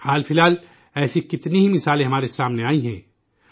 حالیہ دنوں ایسی کتنی ہی مثالیں ہمارے سامنے آئی ہیں